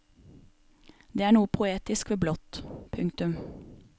Det er noe poetisk ved blått. punktum